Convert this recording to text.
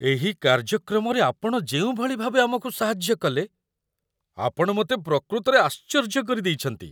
ଏହି କାର୍ଯ୍ୟକ୍ରମରେ ଆପଣ ଯେଉଁଭଳି ଭାବେ ଆମକୁ ସାହାଯ୍ୟ କଲେ, ଆପଣ ମୋତେ ପ୍ରକୃତରେ ଆଶ୍ଚର୍ଯ୍ୟ କରିଦେଇଛନ୍ତି!